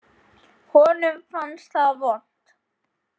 Honum fannst það vont.